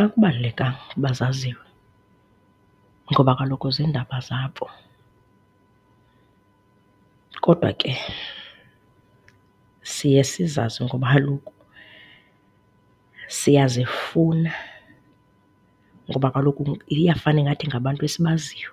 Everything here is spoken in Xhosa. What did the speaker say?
Akubalulekanga uba zaziwe ngoba kaloku ziindaba zabo. Kodwa ke siye sizazi ngoba kaloku siyazifuna, ngoba kaloku iyafana ingathi ngabantu esibaziyo